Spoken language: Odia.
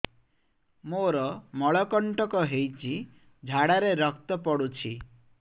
ମୋରୋ ମଳକଣ୍ଟକ ହେଇଚି ଝାଡ଼ାରେ ରକ୍ତ ପଡୁଛି